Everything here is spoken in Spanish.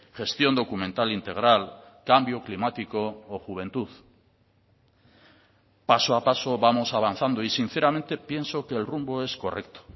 gestión documental integral cambio climático o juventud paso a paso vamos avanzando y sinceramente pienso que el rumbo es correcto